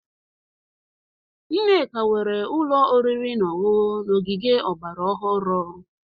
Nneka nwere ụlọ oriri na ọṅụṅụ n'ogige ọgbara ọhụrụ.